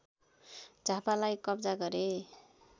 झापालाई कब्जा गरे